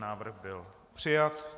Návrh byl přijat.